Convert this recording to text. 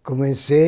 comecei